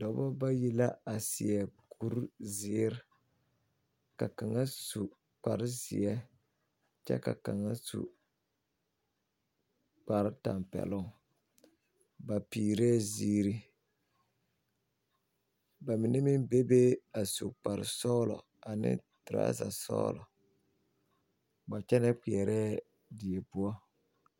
Doɔbo bayi la a seɛ kur ziir. Ka kanga su kpar zie kyɛ ka kanga su kpar tampɛluŋ. Ba piireɛ ziire. Ba mene meŋ be be a su kpar sɔglɔ ane turasa sɔglɔ. Ba yɛle kpeereɛ die poʊ